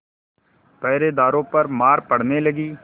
पहरेदारों पर मार पड़ने लगी